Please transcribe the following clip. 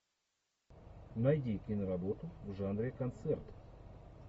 найди киноработу в жанре концерт